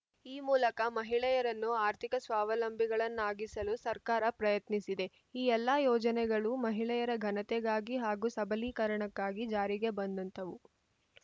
ಈ ಮೂಲಕ ಮಹಿಳೆಯರನ್ನು ಆರ್ಥಿಕ ಸ್ವಾವಲಂಬಿಗಳನ್ನಾಗಿಸಲು ಸರ್ಕಾರ ಪ್ರಯತ್ನಿಸಿದೆ ಈ ಎಲ್ಲಾ ಯೋಜನೆಗಳೂ ಮಹಿಳೆಯರ ಘನತೆಗಾಗಿ ಹಾಗೂ ಸಬಲೀಕರಣಕ್ಕಾಗಿ ಜಾರಿಗೆ ಬಂದಂಥವು